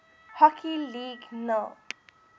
hockey league nhl